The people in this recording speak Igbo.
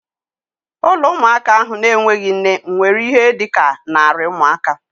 Ụlọ ụmụaka ahụ na-enweghị nne nwere ihe dị ka narị ụmụaka